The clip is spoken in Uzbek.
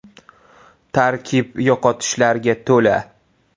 Tarkib yo‘qotishlarga to‘la.